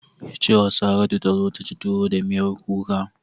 Ki ce wa Saratu ta zo ta ci tuwo da miyar kuka!